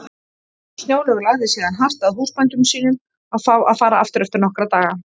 Snjólaug lagði síðan hart að húsbændum sínum að fá að fara aftur eftir nokkra daga.